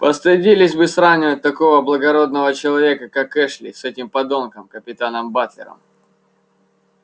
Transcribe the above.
постыдились бы сравнивать такого благородного человека как эшли с этим подонком капитаном батлером